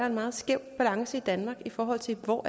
en meget skæv balance i danmark i forhold til hvor